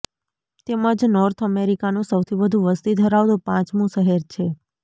તેમજ નોર્થ અમેરિકાનું સૌથી વધુ વસ્તી ધરાવતું પાંચમું શહેર છે